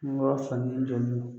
Nimɔrɔ fila